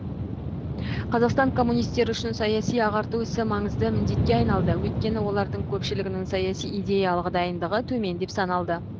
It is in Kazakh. қазақстан коммунистері үшін саяси ағарту ісі маңызды міндетке айналды өйткені олардың көпшілігінің саяси идеялық дайындығы төмен деп саналды